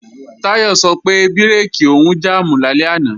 Táyọ̀ sọ pé bírèkì òun jàmù lálẹ́ àná